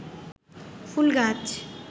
ফুল গাছ